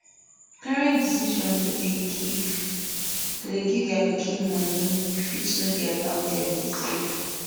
parents decision to dey give to dey give their pikin money fit no dey allow them dey save